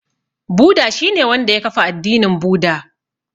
Buda shi ne wanda ya kafa addinin Buda.